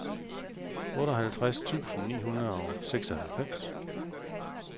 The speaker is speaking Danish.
otteoghalvtreds tusind ni hundrede og seksoghalvfems